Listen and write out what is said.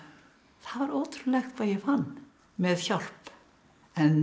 það var ótrúlegt hvað ég fann með hjálp en